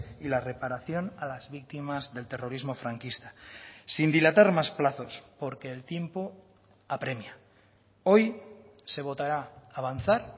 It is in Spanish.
y la reparación a las víctimas del terrorismo franquista sin dilatar más plazos porque el tiempo apremia hoy se votará avanzar